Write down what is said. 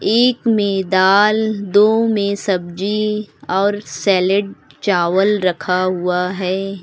एक में दाल दो में सब्जी और सैलेड चावल रखा हुआ है।